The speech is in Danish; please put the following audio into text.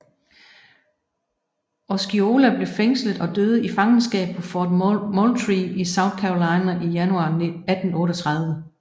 Osceola blev fængslet og døde i fangenskab på Fort Moultrie i South Carolina i januar 1838